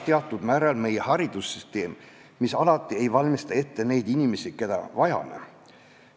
Teatud määral on süüdi ka meie haridussüsteem, mis ei valmista alati ette neid inimesi, keda vajame.